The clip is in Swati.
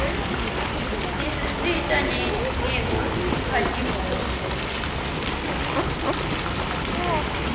tisisita nangekusipha timoto